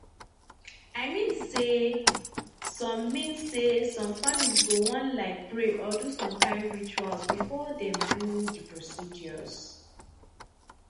i mean say some mean say some families go wan like pray or do some kain rituals before dem do the procedures